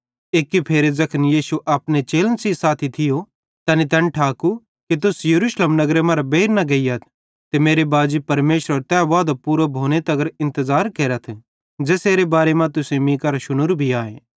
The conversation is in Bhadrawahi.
एक्की फेरे ज़ैखन यीशुए अपने चेलन सेइं साथी थियो तैनी तैन ठाकू कि तुस यरूशलेम नगरे मरां बेइर न गेइयथ ते मेरे बाजी परमेशरेरो तै वादो पूरो भोनेरो इंतज़ार केरथ ज़ेसेरे बारे मां तुसेईं मीं करां शुनोरु भी आए